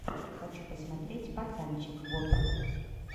хочу посмотреть пацанчег вот